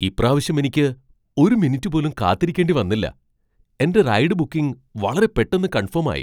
ഇപ്രാവശ്യം എനിക്ക് ഒരു മിനിറ്റ് പോലും കാത്തിരിക്കേണ്ടി വന്നില്ല. എന്റെ റൈഡ് ബുക്കിംഗ് വളരെ പെട്ടന്ന് കൺഫേം ആയി !